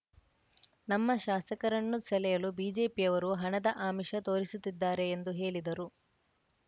ನಮ್ಮ ಶಾಸಕರನ್ನು ಸೆಳೆಯಲು ಬಿಜೆಪಿಯವರು ಹಣದ ಆಮಿಷ ತೋರಿಸುತ್ತಿದ್ದಾರೆ ಎಂದು ಹೇಳಿದರು